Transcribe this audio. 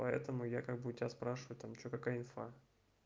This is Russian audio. по этому я как бы у тебя спрашиваю там что какая информация